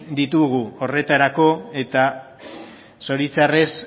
ditugu horretarako eta zoritxarrez